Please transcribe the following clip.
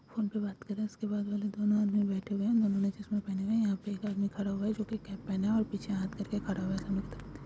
Phone पे बात कर रहा है। उसके बाजू वाले दोनों आदमी बैठे हुए है। दोनों ने चसम पहने हुए है। यहा पे एक आदमी खड़ा हुआ है। जो की कैप्टन है। और पीछे हाथ करके खड़ा हुआ है।